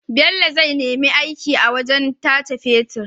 Bello zai nemi aiki a wajan tace fetir